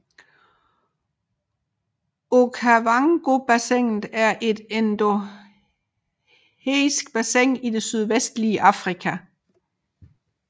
Okavangobassinet er et endorheisk bassin i det sydvestlige Afrika